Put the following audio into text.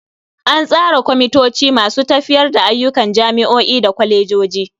An tsara kwamitoci masu tafiyar da ayyukan jami'o'i da kwalejoji.